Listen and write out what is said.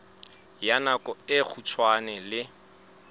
ya nako e kgutshwane le